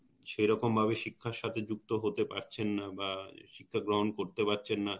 সেরকম ভাবে শিক্ষার সাথে যুক্ত হতে পারছেন না বা শিক্ষা গ্রহন করতে পারছেন না